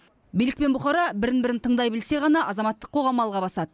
билік пен бұқара бірін бірін тыңдай білсе ғана азаматтық қоғам алға басады